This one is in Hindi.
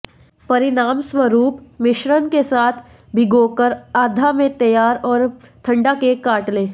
परिणामस्वरूप मिश्रण के साथ भिगोकर आधा में तैयार और ठंडा केक काट लें